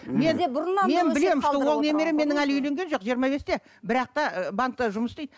ол немерем менің әлі үйленген жоқ жиырма бесте бірақ та банкте жұмыс істейді